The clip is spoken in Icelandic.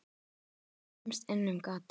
Hvorugt kemst inn um gatið.